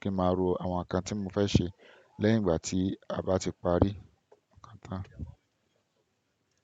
kí máa ro àwọn ǹkan tí mo fẹ́ ṣe lẹ́yìn ìgbà tí a bá ti parí ǹkan tan.